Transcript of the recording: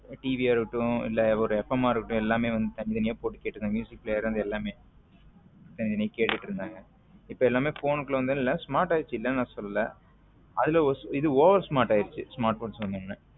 TV யா இருக்கட்டும் இல்ல ஒரு எஃபகமா இருக்கட்டும் எல்லாமே தனித்தனியா போட்டு கேட்டுட்டு இருந்தாங்க player ல இருந்து எல்லாமேதனி தனிய கேட்டுட்டு இருந்தாங்க. இப்ப எல்லாமே phone க்குள்ள வந்ததனால smart ஆயிடுச்சுன்னு சொல்லல அதுல இது oversmart ஆயிடுச்சு smartphones வந்த உடனே